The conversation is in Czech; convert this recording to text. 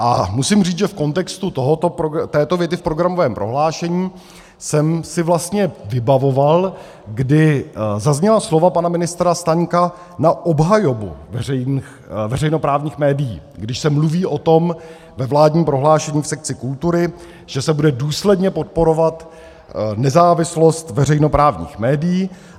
A musím říct, že v kontextu této věty v programovém prohlášení jsem si vlastně vybavoval, kdy zazněla slova pana ministra Staňka na obhajobu veřejnoprávních médií, když se mluví o tom ve vládním prohlášení v sekci kultury, že se bude důsledně podporovat nezávislost veřejnoprávních médií.